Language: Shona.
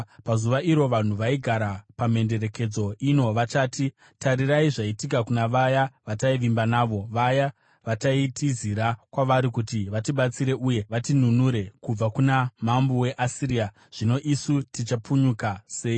Pazuva iro, vanhu vaigara pamhenderekedzo ino vachati, ‘Tarirai zvaitika kuna vaya vataivimba navo, vaya vataitizira kwavari kuti vatibatsire uye vatinunure kubva kuna mambo weAsiria! Zvino isu tichapunyuka sei?’ ”